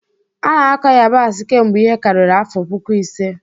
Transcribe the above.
A na-akọ yabasị kemgbe ihe karịrị afọ puku ise.